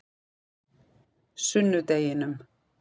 sunnudeginum